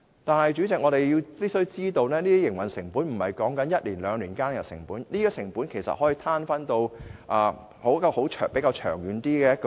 但是，主席，我們必須明白，這些營運成本不是指一兩年間的成本，而是可以攤分至較長遠的時期。